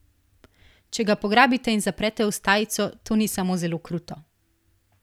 Če ga pograbite in zaprete v stajico, to ni samo zelo kruto.